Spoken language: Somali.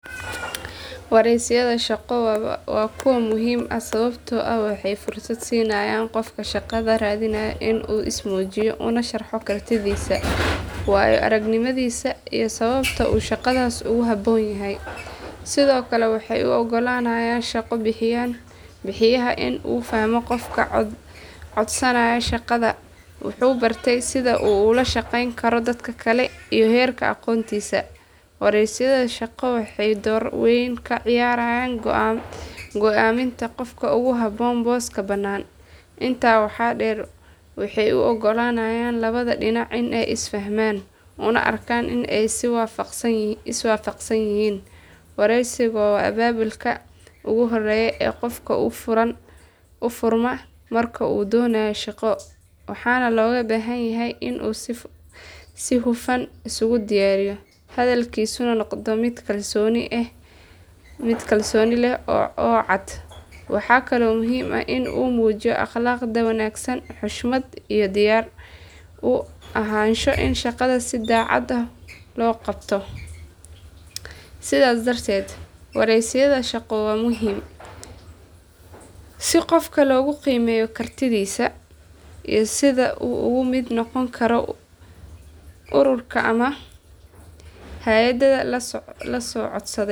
Wareysiyada shaqo waa kuwo muhiim ah sababtoo ah waxay fursad siinayaan qofka shaqada raadinaya in uu is muujiyo una sharxo kartidiisa, waayo aragnimadiisa iyo sababta uu shaqadaas ugu habboon yahay. Sidoo kale waxay u oggolaanayaan shaqo bixiyaha in uu fahmo qofka codsanaya shaqada, wuxuu bartay, sida uu ula shaqeyn karo dadka kale, iyo heerka aqoontiisa. Wareysiyada shaqo waxay door weyn ka ciyaaraan go’aaminta qofka ugu habboon booska bannaan. Intaa waxaa dheer, waxay u oggolaanayaan labada dhinac in ay is fahmaan, una arkaan in ay is waafaqsan yihiin. Wareysigu waa albaabka ugu horreeya ee qofka u furma marka uu doonayo shaqo, waxaana looga baahan yahay in uu si hufan isugu diyaariyo, hadalkiisuna noqdo mid kalsooni leh oo cad. Waxaa kaloo muhiim ah in la muujiyo akhlaaqda wanaagsan, xushmad, iyo diyaar u ahaansho in shaqada si daacad ah loo qabto. Sidaas darteed, wareysiyada shaqo waa muhiim si qofka loogu qiimeeyo kartidiisa iyo sida uu uga mid noqon karo ururka ama hay’adda la codsaday.